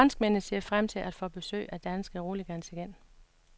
Franskmændene ser frem til at få besøg af danske roligans igen.